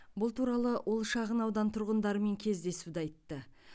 бұл туралы ол шағын аудан тұрғындарымен кездесуде айтты